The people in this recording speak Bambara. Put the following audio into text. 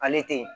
Ale te yen